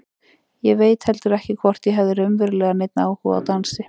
Ég veit heldur ekki hvort ég hafði raunverulega neinn áhuga á dansi.